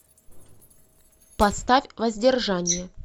поставь воздержание